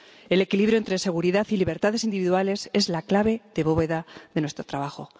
El equilibrio entre seguridad y libertades individuales es la clave de bóveda de nuestro trabajo.